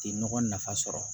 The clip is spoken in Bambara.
Ti nɔgɔ nafa sɔrɔ